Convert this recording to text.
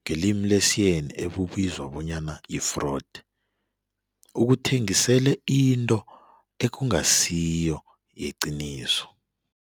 ngelimi lesiyeni ebubizwa bonyana yi-fraud ukuthengisele into ekungasiyo yeqiniso.